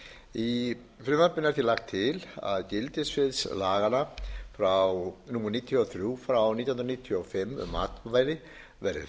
í frumvarpinu er því lagt til að gildissvið laga númer níutíu og þrjú nítján hundruð níutíu og fimm um matvæli verði